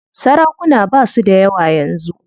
Sarakuna basu dayawa yanzu.